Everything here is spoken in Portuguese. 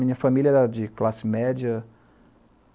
Minha família era de classe média.